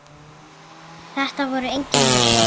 Þetta voru engin jól.